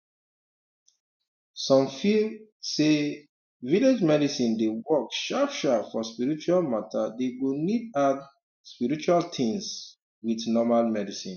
some feel um say um village medicine dey work sharp sharp for spiritual matter dey go need add um spiritual things with normal medicine